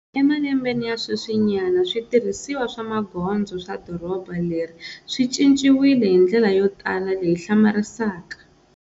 Emalembeni ya sweswinyana, switirhisiwa swa magondzo swa doroba leri swi cinciwile hi ndlela yo tala leyi hlamarisaka.